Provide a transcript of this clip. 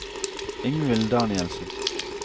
Ingvild Danielsen